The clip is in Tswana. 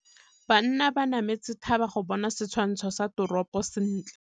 Banna ba nametse thaba go bona setshwantsho sa toropô sentle.